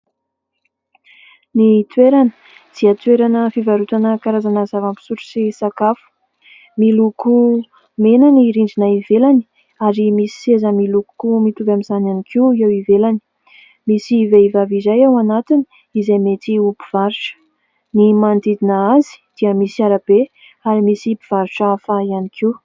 Ny toerana dia toerana fivarotana karazana zava-pisotro sy sakafo. Miloko mena ny rindrina ivelany ary misy seza miloko koa mitovy amin'izany ihany koa eo ivelany, misy vehivavy izay ao anatiny izay mety ho mpivarotra ny manodidina azy dia misy arabe ary misy mpivarotra hafa ihany koa.